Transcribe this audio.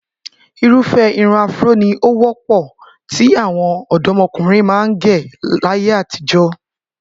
Irúfẹ́ irun afro ni ó wọ́pọ̀ tí àwọn ọ̀dọ́mọkùnrin máa ń gẹ̀ láyé àtijọ́